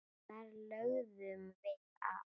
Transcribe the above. Þar lögðum við að.